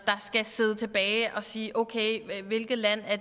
skal sidde tilbage og sige okay hvilket land